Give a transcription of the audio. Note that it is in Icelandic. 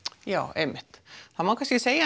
já einmitt það má kannski segja